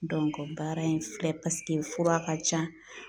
baara in filɛ fura ka can